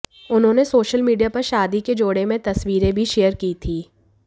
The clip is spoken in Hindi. उन्होंने सोशल मीडिया पर शादी के जोड़े में तस्वीरें भी शेयर की थी